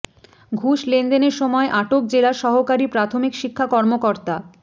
ঘুষ লেনদেনের সময় আটক জেলা সহকারী প্রাথমিক শিক্ষা কর্মকর্তা